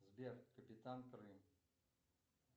сбер капитан крым